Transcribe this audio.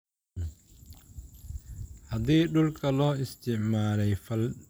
Haddii dhulka loo isticmaalay fal-dambiyeed sharci darro ah, qiimihiisu wuxuu qaadanayaa garaac.